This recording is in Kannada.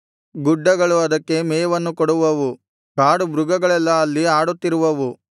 ಗುಡ್ಡಗಳು ಅದಕ್ಕೆ ಮೇವನ್ನು ಕೊಡುವವು ಕಾಡುಮೃಗಗಳೆಲ್ಲಾ ಅಲ್ಲಿ ಆಡುತ್ತಿರುವವು